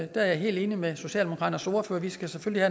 der er jeg helt enig med socialdemokratiets ordfører vi skal selvfølgelig